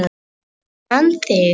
Ég man þig!